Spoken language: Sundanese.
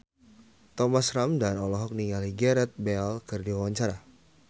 Thomas Ramdhan olohok ningali Gareth Bale keur diwawancara